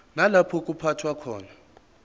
nalapho kuphathwa khona